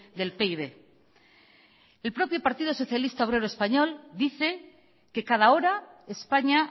del pib el propio partido socialista obrero español dice que cada hora españa